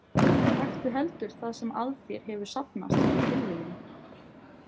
Taktu heldur það sem að þér hefur safnast fyrir tilviljun.